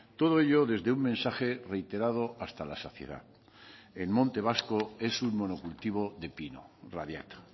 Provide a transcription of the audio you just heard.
todo ello desde un mensaje reiterado hasta la saciedad el monte vasco es un monocultivo de pino radiata